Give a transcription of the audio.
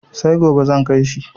Sai gobe zan kai shi.